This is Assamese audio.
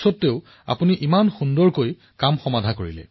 ধন্যবাদ ছাৰ আপোনাৰ সৈতে কথা পাতিবলৈ পাই মই সৌভাগ্যৱান অনুভৱ কৰিছো